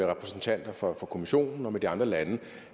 repræsentanter for kommissionen og med de andre lande